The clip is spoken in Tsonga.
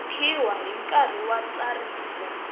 vekiwa hi nkarhi wa ntsariso